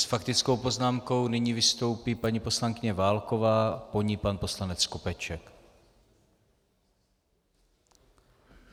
S faktickou poznámkou nyní vystoupí paní poslankyně Válková, po ní pan poslanec Skopeček.